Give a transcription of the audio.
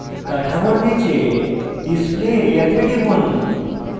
কাঠামোর নীচে display area তে টিপুন